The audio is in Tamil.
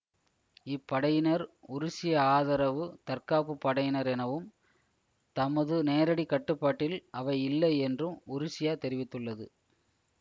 இப்படையினர் உருசிய ஆதரவு தற்காப்புப் படையினர் எனவும் தமது நேரடிக் கட்டுப்பாட்டில் அவை இல்லை என்றும் உருசியா தெரிவித்துள்ளது